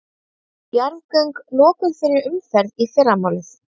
Jarðgöng lokuð fyrir umferð í fyrramálið